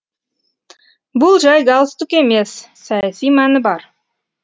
бұл жай галстук емес саяси мәні бар